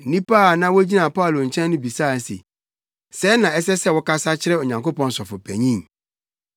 Nnipa a na wogyina Paulo nkyɛn no bisaa no se, “Sɛɛ na ɛsɛ sɛ wokasa kyerɛ Onyankopɔn sɔfopanyin?”